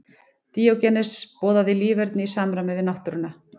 Díógenes boðaði líferni í samræmi við náttúruna.